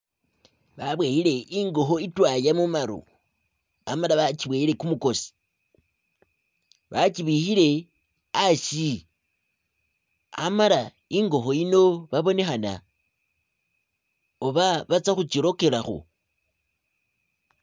Babooyile i'ngokho i'twaaya mumaru amala bachibowele kumukoosi bachibikhile a'asi amala i'ngokho yino babonekhana oba batsa khuchilokelakho